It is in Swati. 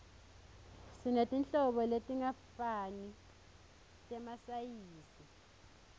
sinetinhlobo letingafani temasayizi